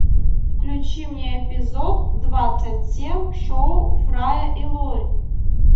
включи мне эпизод двадцать семь шоу фрая и лори